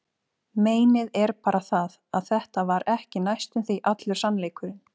Meinið er bara það, að þetta var ekki næstum því allur sannleikurinn.